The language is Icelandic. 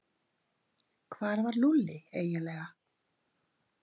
Hvar var Lúlli eiginlega?